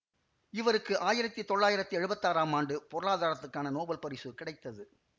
இவருக்கு ஆயிரத்தி தொள்ளாயிரத்தி எழுவத்தாறாம் ஆண்டு பொருளாதாரத்துக்கான நோபல் பரிசு கிடைத்தது